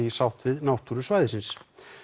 í sátt við náttúru svæðisins